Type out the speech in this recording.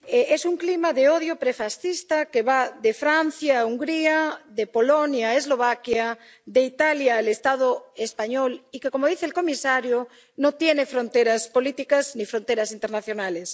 Es un clima de odio prefascista que va de Francia a Hungría, de Polonia a Eslovaquia, de Italia al Estado español, y que, como dice el comisario, no tiene fronteras políticas ni fronteras internacionales.